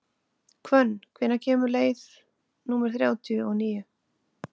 Hvönn, hvenær kemur leið númer þrjátíu og níu?